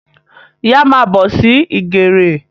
Yá má bọ̀ sí ìgèrè